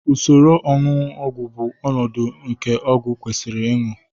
usoro onunu ogwu bụ ọnọdụ nke ọgwụ kwesịrị ịṅụ